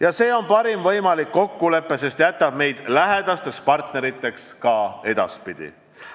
Ja see on parim võimalik kokkulepe, sest jätab meid lähedasteks partneriteks ka edaspidi.